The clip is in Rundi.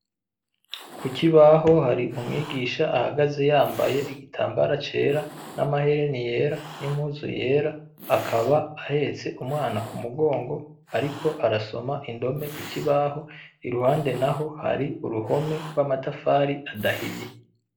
Kukibaho hari umwigisha ahagaze yambaye igitambara cera, n'amahereni yera, n'impuzu yera, akaba ahetse umwana k'umugongo ariko arasoma indome ku kibabaho. Iruhande naho hari uruhome gw'amatafari adahiye.